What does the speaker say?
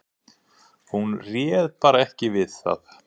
Hún réð bara ekki við það.